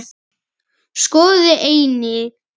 Skoði einnig